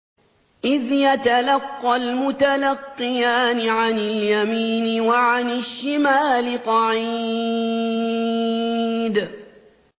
إِذْ يَتَلَقَّى الْمُتَلَقِّيَانِ عَنِ الْيَمِينِ وَعَنِ الشِّمَالِ قَعِيدٌ